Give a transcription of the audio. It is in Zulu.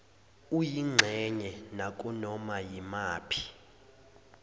oyingxenye nakunoma yimaphi